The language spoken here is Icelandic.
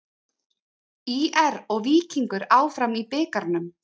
ÍR og Víkingur áfram í bikarnum